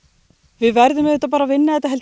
við verðum auðvitað bara að vinna þetta